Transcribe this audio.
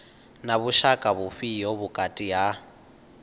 na vhushaka vhufhio vhukati ha